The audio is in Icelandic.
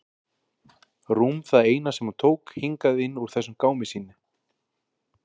Rúm það eina sem hún tók hingað inn úr þessum gámi sínum.